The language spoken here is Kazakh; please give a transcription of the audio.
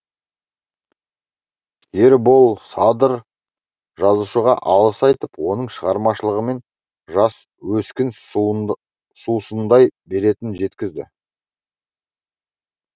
ербол садыр жазушыға алғыс айтып оның шығармашылығымен жас өскін сусындай беретінін жеткізді